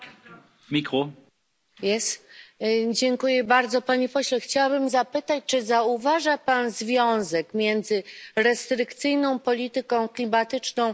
Panie pośle, chciałabym zapytać, czy zauważa pan związek między restrykcyjną polityką klimatyczną Unii Europejskiej a załamaniem w branży stalowej?